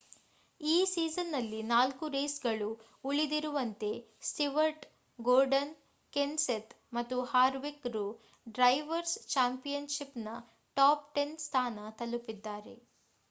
ಈ ಸೀಸನ್‌ನಲ್ಲಿ ನಾಲ್ಕು ರೇಸ್‌ಗಳು ಉಳಿದಿರುವಂತೆ ಸ್ಟಿವರ್ಟ್ ಗೊರ್ಡನ್ ಕೆನ್ಸೆಥ್ ಮತ್ತು ಹಾರ್ವಿಕ್‍‌ರು ಡ್ರೈವರ್ಸ್ ಚಾಂಪಿಯನ್‌ಷಿಪ್‌ನ ಟಾಪ್ ಟೆನ್ ಸ್ಥಾನ ತಲುಪಿದ್ದಾರೆ